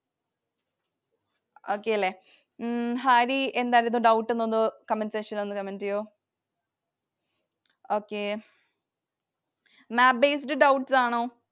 Okay അല്ലെ. ഉം ഹരി എന്തായിരുന്നു doubt എന്ന് ഒന്ന് comment section ൽ ഒന്ന് comment ചെയ്യുവോ? Okay Map based doubts ആണോ?